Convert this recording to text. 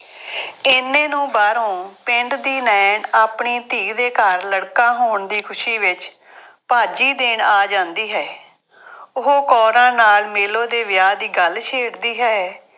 ਐਨੇ ਨੂੰ ਬਾਹਰੋਂ ਪਿੰਡ ਦੀ ਨਾਇਣ ਆਪਣੇ ਧੀ ਦੇ ਘਰ ਲੜਕਾ ਹੋਣ ਦੀ ਖੁਸ਼ੀ ਵਿੱਚ ਭਾਜੀ ਦੇਣ ਆ ਜਾਂਦੀ ਹੈ। ਉਹ ਕੌਰਾਂ ਨਾਲ ਮੇਲੋ ਦੇ ਵਿਆਹ ਦੀ ਗੱਲ ਛੇੜਦੀ ਹੈ।